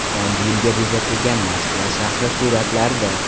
Yangi yilga bezatilgan Moskva shahri suratlarda.